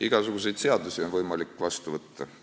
Igasuguseid seadusi on võimalik vastu võtta.